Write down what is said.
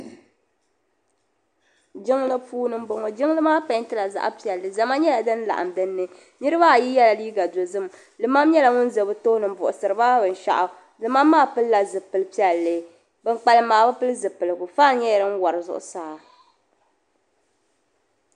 Jiŋli puuni m bo ŋɔ jiŋli maa pɛntila zaɣpiɛlli zamaatu din laɣim din ni niribaayi yela liiga dozim limam nyela ŋun ʒe bɛ tooni m buɣisiriba binshɛɣu limam maa pilila zipili piɛlli ban kpalim maa bi pili zipiligu fan nyela din wari zuɣu saa.